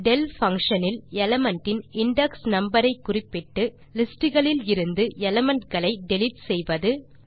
del function இல் element இன் index number ஐ குறிப்பிட்டு லிஸ்ட் களிலிருந்து எலிமெண்ட் களை டிலீட் செய்வது